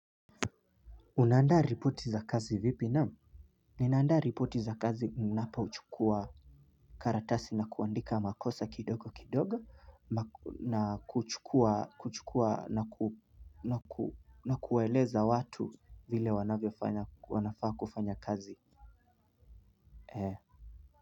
Unaandaa reporti za kazi vipi? Naam. Ninaanda reporti za kazi ninapa uchukua karatasi na kuandika makosa kidogo kidogo na kuchukua na kuwaeleza watu vile wanafaa kufanya kazi.